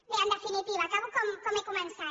bé en definitiva acabo com he començat